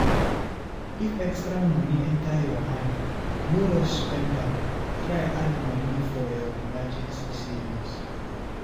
If extra money enter your hand, no rush spend am, try add money for your emergency savings